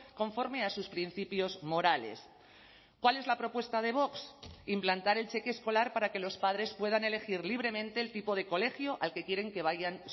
conforme a sus principios morales cuál es la propuesta de vox implantar el cheque escolar para que los padres puedan elegir libremente el tipo de colegio al que quieren que vayan